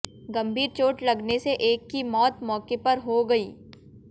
गंभीर चोट लगने से एक की मौत मौके पर हो गई